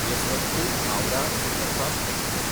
यसवंतपूर–हावराह superfast express